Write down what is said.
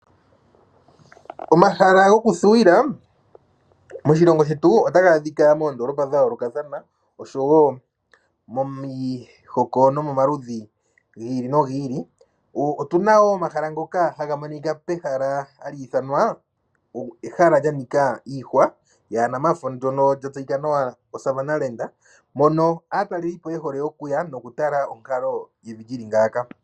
Omahala goku thuwila moshilongo shetu otaga adhika moondoolopa dha yoolokathana oshowo momihoko nomomaludhi gi ili nogi ili. Otuna wo omahala ngoka haga monika pehala hali ithanwa ehala lyanika iihwa ndono lya tseyika nawa oSavanna Land, mono aataleli po ye hole okuya noku tala onkalo yevi lyili ngaaka.